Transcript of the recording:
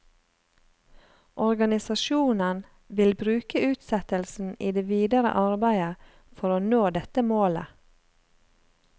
Organisasjonen vil bruke utsettelsen i det videre arbeidet for å nå dette målet.